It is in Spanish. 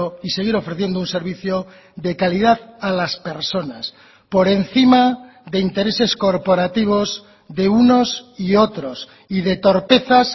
y seguir ofreciendo un servicio de calidad a las personas por encima de intereses corporativos de unos y otros y de torpezas